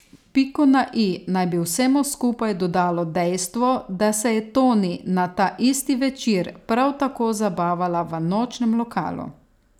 Piko na i naj bi vsemu skupaj dodalo dejstvo, da se je Toni na ta isti večer prav tako zabavala v nočnem lokalu.